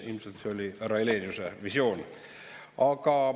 Ilmselt see oli härra Heleniuse visioon.